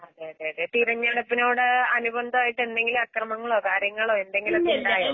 അതേഅതേയതേ. തിരഞ്ഞെടുപ്പിനോട് അനുബന്ധായിട്ട് എന്തെങ്കില്അക്രമങ്ങളോകാര്യങ്ങളോ എന്തെങ്കിലൊക്കെയുണ്ടായോ?